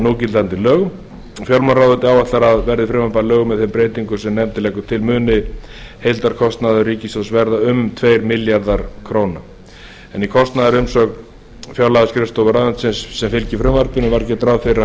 núgildandi lögum fjármálaráðuneytið áætlar að verði frumvarpið að lögum með þeim breytingum sem nefndin leggur til muni heildarkostnaður ríkissjóðs verða um tveir milljarðar króna en í kostnaðarumsögn fjárlagaskrifstofu ráðuneytisins sem fylgdi frumvarpinu var gert ráð fyrir að hann